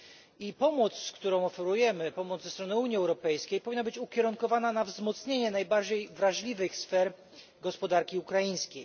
I pomoc, którą oferujemy, pomoc ze strony Unii Europejskiej, powinna być ukierunkowana na wzmocnienie najbardziej wrażliwych sfer gospodarki ukraińskiej.